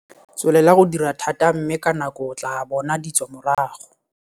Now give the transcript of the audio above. Tswelela go dira thata mme ka nako o tlaa bona ditswamorago!